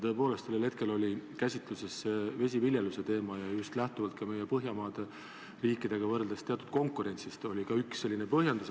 Tõepoolest, sellel hetkel oli käsitlusel vesiviljeluse teema ja just lähtuvalt ka meie konkurentsist Põhjamaadega, see oli üks põhjendusi.